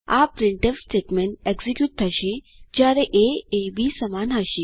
આ printf statement execute થશે જયારે એ એ બી સમાન હશે